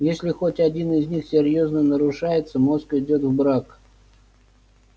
если хоть один из них серьёзно нарушается мозг идёт в брак